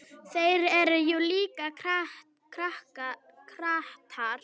Þeir eru jú líka kratar.